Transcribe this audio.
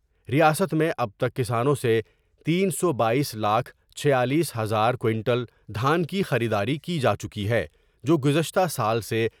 ریاست میں اب تک کسانوں سے تین سو بایس لاکھ چھیالیس ہزار کینٹل دھان کی خریداری کی جا چکی ہے ، جو گزشتہ سال سے